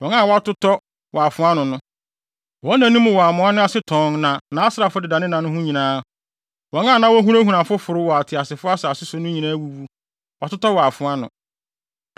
Wɔn nna no wɔ amoa no ase tɔnn na nʼasraafo deda ne nna ho nyinaa. Wɔn a na wohunahuna afoforo wɔ ateasefo asase so no nyinaa awuwu, wɔatotɔ wɔ afoa ano.